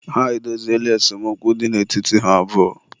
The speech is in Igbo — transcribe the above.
ha edoziela esemokwu dị n'etiti ha abụọ